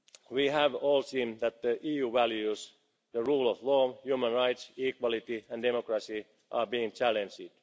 We have all seen that the EU's values the rule of law, human rights, equality and democracy are being challenged.